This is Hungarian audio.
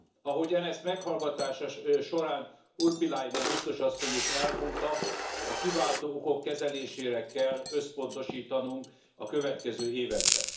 Ahogyan ezt meghallgatása során Urpilainen biztos asszony is elmondta, a kiváltó okok kezelésére kell összpontosítanunk a következő években.